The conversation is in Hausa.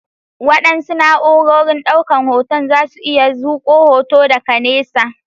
Waɗansu na'urorin ɗaukan hoton zasu iya zuƙo hoto daga nesa.